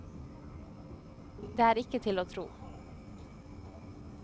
Det er ikke til å tro.